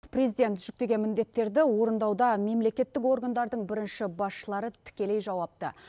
президент жүктеген міндеттерді орындауда мемлекеттік органдардың бірінші басшылары тікелей жауапты